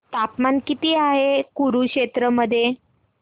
तापमान किती आहे कुरुक्षेत्र मध्ये